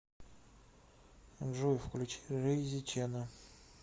джой включи рейзи чена